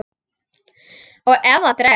Og ef það dregst.